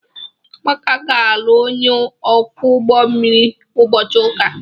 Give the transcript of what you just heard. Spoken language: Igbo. Amaka ga-alụ onye ọkwọ ụgbọ mmiri ụbọchị ụka.